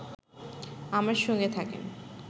আমার সঙ্গে থাকেন